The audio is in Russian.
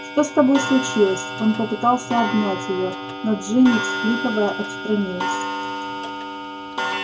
что с тобой случилось он попытался обнять её но джинни всхлипывая отстранилась